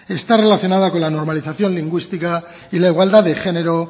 está relacionada con la normalización lingüística y la igualdad de género